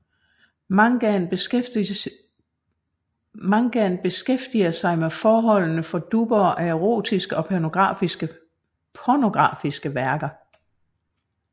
Mangaen beskæftiger sig med forholdene for dubbere af erotiske og pornografiske værker